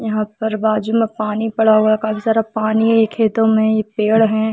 यहाँ पर बाजु में पानी पड़ा हुआ है कई सारा पानी है खेतों में एक पेड़ है।